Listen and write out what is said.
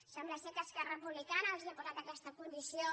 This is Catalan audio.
sembla que esquerra republicana els ha posat aquesta condició